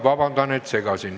Vabandust, et segasin.